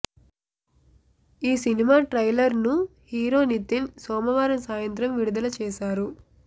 ఈ సినిమా ట్రైలర్ను హీరో నితీన్ సోమవారం సాయంత్రం విడుదల చేశారు